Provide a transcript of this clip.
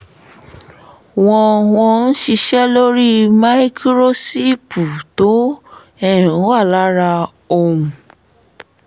wọ́n wọ́n ṣiṣẹ́ lórí máíkúróṣípù tó um wà lára ohun